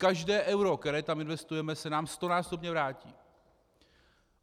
Každé euro, které tam investujeme, se nám stonásobně vrátí.